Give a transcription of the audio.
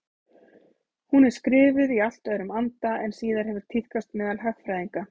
Hún er skrifuð í allt öðrum anda en síðar hefur tíðkast meðal hagfræðinga.